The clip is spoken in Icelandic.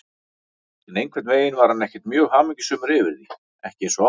En einhvern veginn var hann ekkert mjög hamingjusamur yfir því, ekki eins og áður.